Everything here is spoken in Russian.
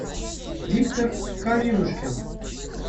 виктор калинушкин